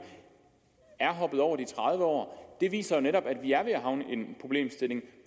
er hoppet over de tredive år det viser jo netop at vi er ved at havne i en problemstilling